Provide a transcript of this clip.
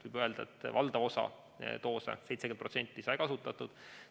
Võib öelda, et valdav osa vaktsiinidest, 70%, sai kasutatud.